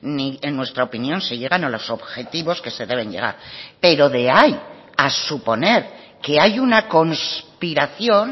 ni en nuestra opinión se llegan a los objetivos que se deben llegar pero de ahí a suponer que hay una conspiración